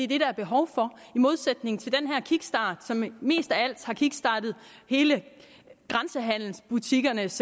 det der er behov for i modsætning til den her kickstart som mest af alt har kickstartet grænsehandelsbutikkernes